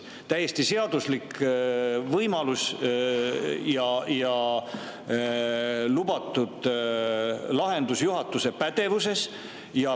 See on täiesti seaduslik võimalus ja lubatud lahendus juhatuse pädevuses.